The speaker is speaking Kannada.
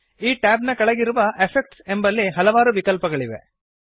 ಈ ಟ್ಯಾಬ್ ನ ಕೆಳಗಿರುವ ಎಫೆಕ್ಟ್ಸ್ ಎಂಬಲ್ಲಿ ಹಲವಾರು ವಿಕಲ್ಪಗಳಿವೆ